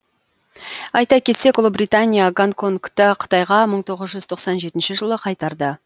айта кетсек ұлыбритания гонконгты қытайға мың тоғыз жүж тоқсан жетінші жылы қайтарды